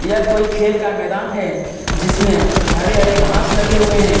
यह कोई खेल का मैदान है जिसमें हरे हरे घास लगे हुए हैं।